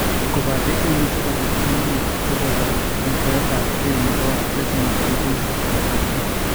Kobate imuchi kobit uinwek cheboto metoetabge nebo retina eng' kenyisiek alak tugul